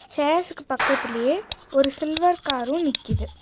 சேர்ஸ்க்கு பக்கத்திலேயே ஒரு சில்வர் காரும் நிக்கிது.